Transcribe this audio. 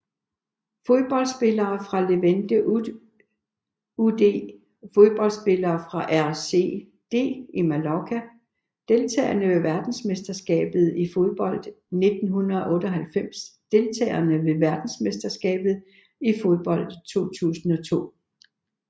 Fodboldspillere fra Levante UD Fodboldspillere fra RCD Mallorca Deltagere ved verdensmesterskabet i fodbold 1998 Deltagere ved verdensmesterskabet i fodbold 2002